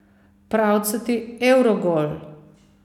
Pravcati evrogol!